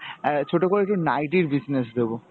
অ্যাঁ ছোট করে একটি নাইটির business দেব.